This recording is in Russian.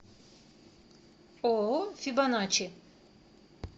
ооо фибоначчи